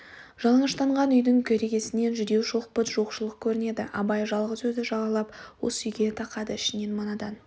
жалаңаштанған үйдің керегесінен жүдеу шоқпыт жоқшылық көрінеді абай жалғыз өзі жағалап осы үйге тақады ішінен мынадан